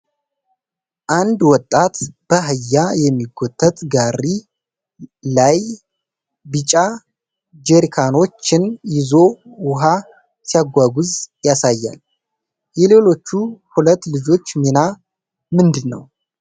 አንድ ወጣት በአህያ የሚጎተት ጋሪ ላይ ቢጫ ጀሪካኖች ን ይዞ ውሃ ሲያጓጉዝ ያሳያል። የሌሎቹ ሁለት ልጆች ሚና ምንድን ነው ?